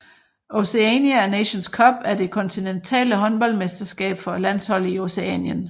Oceania Nations Cup er det kontinentale håndboldmesterskab for landshold i Oceanien